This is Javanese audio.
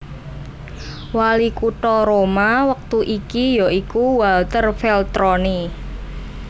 Wali kutha Roma wektu iki ya iku Walter Veltroni